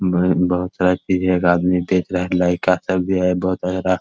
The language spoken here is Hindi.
बहुत सारा चीजे है । एक आदमी देख रहा है | लइका सब भी है बहुत तरह का |